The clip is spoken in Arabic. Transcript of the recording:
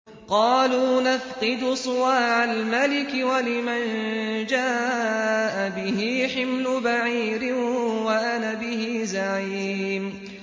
قَالُوا نَفْقِدُ صُوَاعَ الْمَلِكِ وَلِمَن جَاءَ بِهِ حِمْلُ بَعِيرٍ وَأَنَا بِهِ زَعِيمٌ